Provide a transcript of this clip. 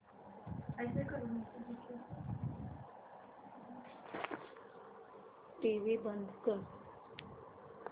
TV बंद कर